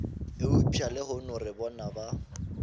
eupša lehono re bona ba